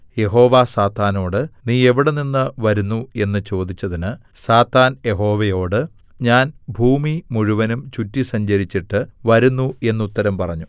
യഹോവ സാത്താനോട് നീ എവിടെനിന്ന് വരുന്നു എന്ന് ചോദിച്ചതിന് സാത്താൻ യഹോവയോട് ഞാൻ ഭൂമി മുഴുവനും ചുറ്റി സഞ്ചരിച്ചിട്ട് വരുന്നു എന്നുത്തരം പറഞ്ഞു